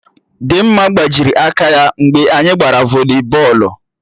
Dịmma gbajiri aka ya mgbe anyị gbara voli bọọlụ